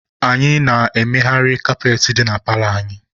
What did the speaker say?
Anyị na-amagharị kaapetị dị na paalọ anyị.